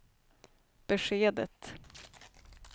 beskedet